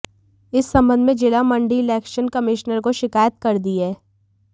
इस संबंध में जिला मंडी इलेक्शन कमिश्नर को शिकायत कर दी है